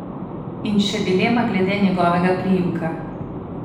In še dilema glede njegovega priimka.